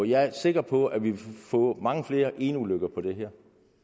jeg er sikker på at vi vil få mange flere eneulykker på det her